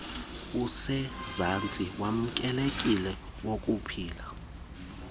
usezantsi wamkelekileyo wokuphila